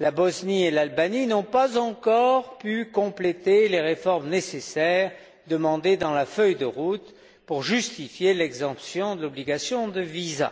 la Bosnie et l'Albanie n'ont pas encore pu compléter les réformes nécessaires demandées dans la feuille de route pour justifier l'exemption de l'obligation de visa.